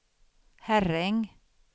Herräng